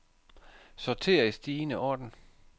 Sorter i stigende orden.